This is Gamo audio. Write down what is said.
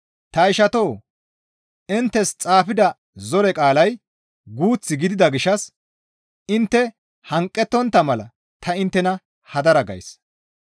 Ta ishatoo! Inttes xaafida zore qaalay guuth gidida gishshas intte hanqettontta mala ta inttena hadara gays.